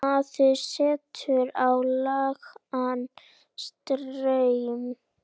Maður setur á lágan straum.